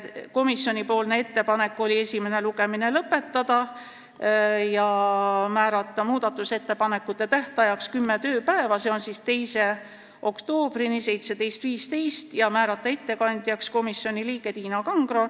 Komisjoni ettepanek oli esimene lugemine lõpetada ja määrata muudatusettepanekute esitamise tähtajaks kümme tööpäeva, s.o 2. oktoober kell 17.15, ja määrata ettekandjaks komisjoni liige Tiina Kangro.